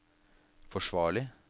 forsvarlig